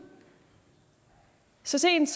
så sent